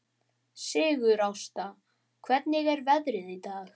Sigurásta, hvernig er veðrið í dag?